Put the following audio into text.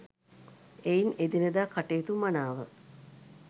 එයින් එදිනෙදා කටයුතු මනාව